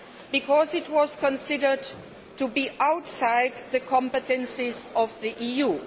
because it was considered to be outside the competences of the EU.